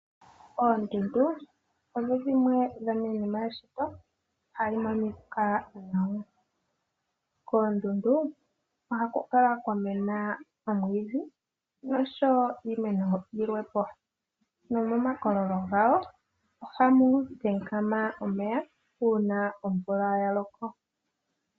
Oondundu odhimwe dho miinima yeshito hadhi monika nawa. Koondundu ohaku kala kwa mena omwiidhi nosho wo iimeno yi lwepo. Nomo makololo gawo ohamu kankama omeya uuna omvula ya loko.